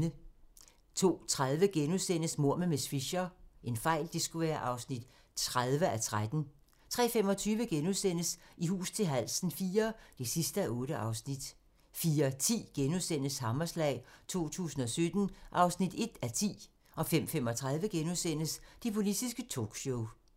02:30: Mord med miss Fisher (30:13)* 03:25: I hus til halsen IV (8:8)* 04:10: Hammerslag 2017 (1:10)* 05:35: Det politiske talkshow *